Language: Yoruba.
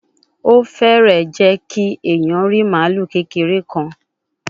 O fee jẹ ki eniyan ri malu kekere kan